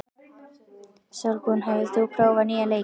Sólbrún, hefur þú prófað nýja leikinn?